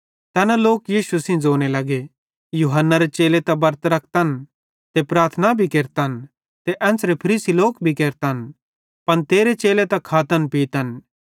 तैना लोक यीशु सेइं ज़ोने लगे यूहन्नारे चेले त बरत रखतन ते प्रार्थना भी केरतन ते एन्च़रे फरीसी भी केरतन पन तेरे चेले त खातन पीतन